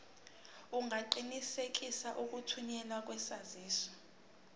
ungaqinisekisa ukuthunyelwa kwesaziso